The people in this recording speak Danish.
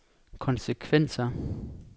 konsekvenser